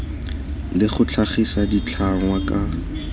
le go tlhagisa ditlhangwa ka